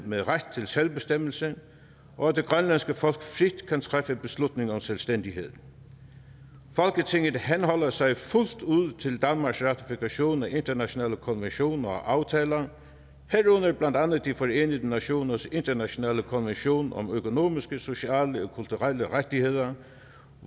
med ret til selvbestemmelse og at det grønlandske folk frit kan træffe beslutning om selvstændighed folketinget henholder sig fuldt ud til danmarks ratifikation af internationale konventioner og aftaler herunder blandt andet de forenede nationers internationale konvention om økonomiske sociale og kulturelle rettigheder